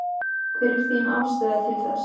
Hver er þín afstaða til þess?